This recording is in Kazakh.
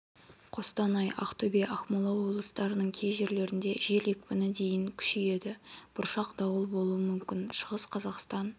қостанай ақтөбе ақмола облыстарының кей жерлерінде жел екпіні дейін күшейеді бұршақ дауыл болуы мүмкін шығыс қазақстан